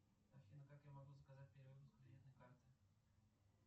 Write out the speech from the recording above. афина как я могу заказать перевыпуск кредитной карты